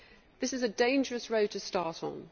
This is a dangerous road to start on.